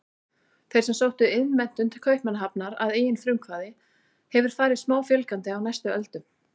Þeim sem sóttu iðnmenntun til Kaupmannahafnar að eigin frumkvæði hefur farið smáfjölgandi á næstu öldum.